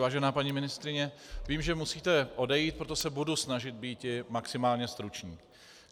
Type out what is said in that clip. Vážená paní ministryně, vím, že musíte odejít, proto se budu snažit být maximálně stručný.